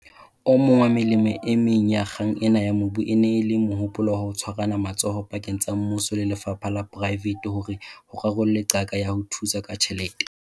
O mong wa melemo e meng ya kgang ena ya mobu e ne e le mohopolo wa ho tshwarana matsoho pakeng tsa Mmuso le lefapha la poraevete hore ho rarollwe qaka ya ho thusa ka tjhelete.